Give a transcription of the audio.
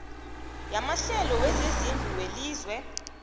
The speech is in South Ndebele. yamahlelo wezezindlu welizwe